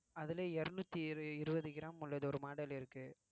அதுல இருநூற்றி இரு~ இருவது gram உள்ளது ஒரு model இருக்கு